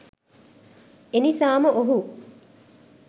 එනිසාම ඔහු